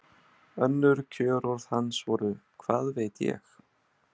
Önnur kjörorð hans voru Hvað veit ég?